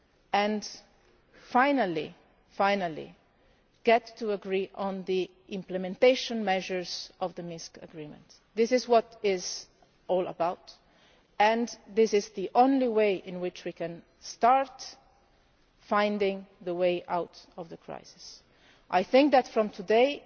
and finally come to agree on the implementation measures of the Minsk Agreement. This is what it is all about and this is the only way in which we can start finding the way out of the crisis. I think that, here, today,